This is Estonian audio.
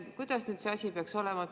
Kuidas see asi peaks olema?